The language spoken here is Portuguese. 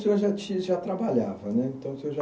O senhor já ti, já trabalhava, né? Então o senhor já